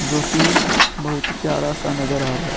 जो कि बोहोत प्यारा सा नजर आ रहा है।